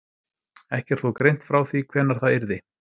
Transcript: Ekki er þó greint frá því hvenær það yrði.